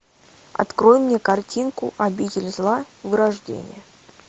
открой мне картинку обитель зла вырождение